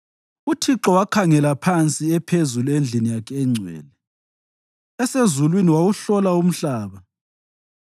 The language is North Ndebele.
“ UThixo wakhangela phansi ephezulu endlini yakhe engcwele, esezulwini wawuhlola umhlaba,